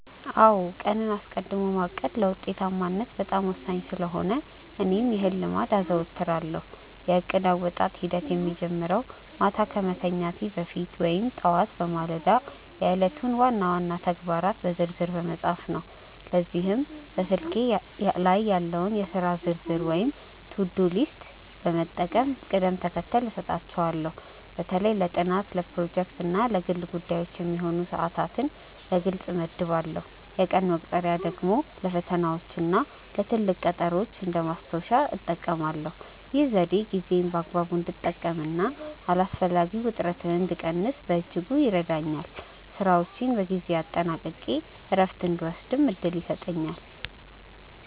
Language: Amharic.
አዎ ቀንን አስቀድሞ ማቀድ ለውጤታማነት በጣም ወሳኝ ስለሆነ እኔም ይህን ልምድ አዘወትራለሁ። የእቅድ አወጣጥ ሂደቴ የሚጀምረው ማታ ከመተኛቴ በፊት ወይም ጠዋት በማለዳ የዕለቱን ዋና ዋና ተግባራት በዝርዝር በመጻፍ ነው። ለዚህም በስልኬ ላይ ያለውን የሥራ ዝርዝር ወይም ቱዱ ሊስት በመጠቀም ቅደም ተከተል እሰጣቸዋለሁ። በተለይ ለጥናት፣ ለፕሮጀክቶች እና ለግል ጉዳዮች የሚሆኑ ሰዓታትን በግልጽ እመድባለሁ። የቀን መቁጠሪያ ደግሞ ለፈተናዎችና ለትልቅ ቀጠሮዎች እንደ ማስታወሻ እጠቀማለሁ። ይህ ዘዴ ጊዜዬን በአግባቡ እንድጠቀምና አላስፈላጊ ውጥረትን እንድቀንስ በእጅጉ ይረዳኛል። ስራዎቼን በጊዜ አጠናቅቄ እረፍት እንድወስድም እድል ይሰጠኛል።